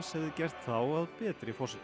hefði gert þá að betri forsetum